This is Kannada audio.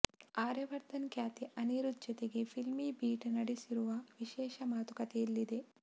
ಆರ್ಯವರ್ಧನ್ ಖ್ಯಾತಿಯ ಅನಿರುದ್ಧ್ ಜತೆಗೆ ಫಿಲ್ಮೀಬೀಟ್ ನಡೆಸಿರುವ ವಿಶೇಷ ಮಾತುಕತೆ ಇಲ್ಲಿದೆ